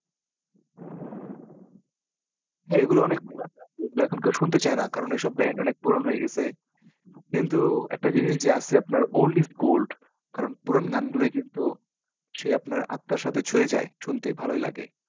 হ্যাঁ এগুলো অনেক পুরান এখন আর কেউ শুনতে চায়না। কারণ এসব band অনেক পুরোনো হয়ে গেছে। কিন্তু একটা জিনিস যে আছে আপনার old is gold কারণ পুরান গানগুলোই কিন্তু সেই আপনার আত্মার সাথে ছুঁয়ে যায়। শুনতে ভালোই লাগে।